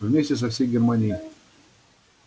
вместе со всей германией